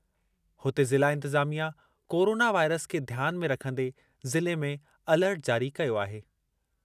हुते ज़िला इंतिज़ामिया कोरोना वाइरस खे ध्यान में रखंदे ज़िले में अलर्ट जारी कयो आहे।